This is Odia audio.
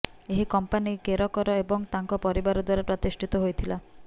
ଏହି କମ୍ପାନୀ କେରକର ଏବଂ ତାଙ୍କ ପରିବାର ଦ୍ୱାରା ପ୍ରତିଷ୍ଠିତ ହୋଇଥିଲା